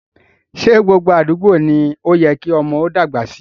Ṣé gbogbo àdúgbò ni ó yẹ kí ọmọdé ó dàgbà sí?